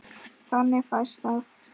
Þannig fæst að